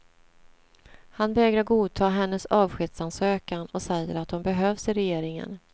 Han vägrar godta hennes avskedsansökan och säger att hon behövs i regeringen.